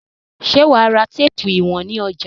Ṣé wà á ra téépù ìwọ̀n ní ọjà?